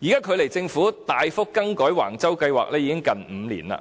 現在距離政府大幅更改橫洲計劃已近5年，